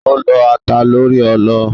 Ó lọ́ ata lórí ọlọ.